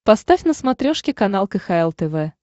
поставь на смотрешке канал кхл тв